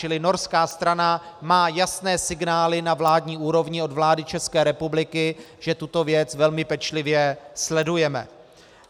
Čili norská strana má jasné signály na vládní úrovni od vlády České republiky, že tuto věc velmi pečlivě sledujeme.